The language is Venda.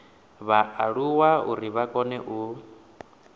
vhaaluwa uri vha kone u